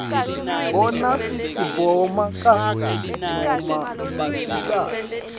bona sitsi bomake noma basikati